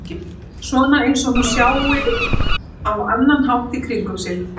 Svona einsog hún sjái á annan hátt í kringum sig.